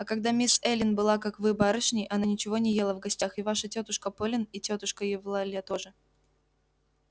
а когда мисс эллин была как вы барышней она ничего не ела в гостях и ваша тётушка полин и тётушка евлалия тоже